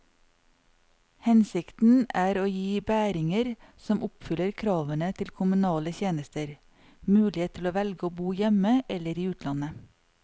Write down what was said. Hensikten er å gi bæringer som oppfyller kravene til kommunale tjenester, mulighet til å velge å bo hjemme eller i utlandet.